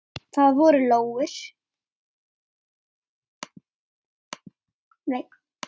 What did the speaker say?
Það voru lóur.